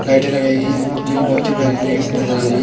लाइटें लगाई जोकि बहोत ही प्यारी तरीके से नजर आ रही--